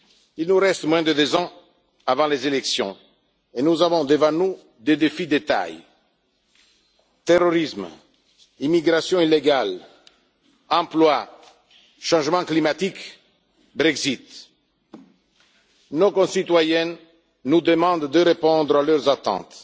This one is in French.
Il nous reste moins de deux ans avant les élections et nous avons devant nous des défis de taille terrorisme, immigration illégale, emploi, changement climatique et Brexit. Nos concitoyens nous demandent de répondre à leurs attentes.